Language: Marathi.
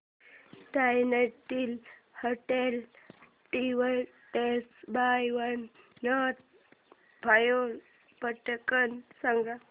nineteen hundred divided by one not five पटकन सांग